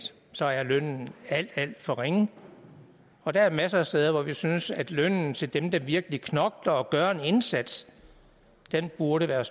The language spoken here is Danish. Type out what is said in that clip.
så er lønnen alt alt for ringe og der er masser af steder hvor vi synes at lønnen til dem der virkelig knokler og gør en indsats burde være